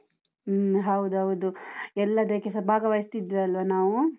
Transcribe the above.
ಹ್ಮ್ ಹೌದೌದು, ಎಲ್ಲದಕ್ಕೆಸ ಭಾಗವಹಿಸ್ತಿದ್ವಲ್ಲ ನಾವು?